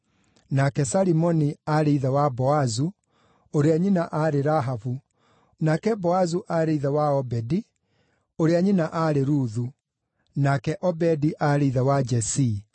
nake Salimoni aarĩ ithe wa Boazu, ũrĩa nyina aarĩ Rahabu, nake Boazu aarĩ ithe wa Obedi, ũrĩa nyina aarĩ Ruthu, nake Obedi aarĩ ithe wa Jesii,